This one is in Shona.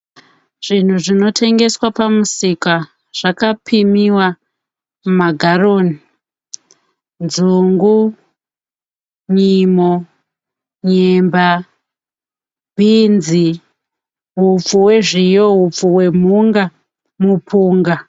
Zvinhu zvinotengeswa pamusika zvakapimiwa mumagaroni. Nzungu, nyimo, nyemba, bhinzi, hupfu hwezviyo, hupfu hwemhunga, mupunga.